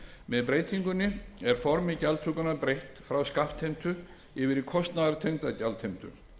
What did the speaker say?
með breytingunni er formi gjaldtökunnar breytt frá skattheimtu yfir í kostnaðartengda gjaldheimtu